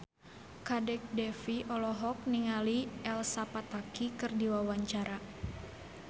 Kadek Devi olohok ningali Elsa Pataky keur diwawancara